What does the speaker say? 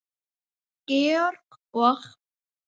Georg og